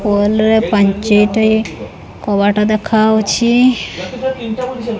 Wall ରେ ପାଞ୍ଚଟେ କବାଟ ଦେଖାଉଛି।